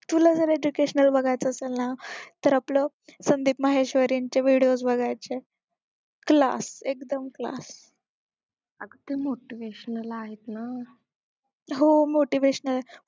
तुला जर educational बघायचं असेल ना तर आपला संदीप माहेश्वरी चे videos बघायचे class एकदम class हो motivational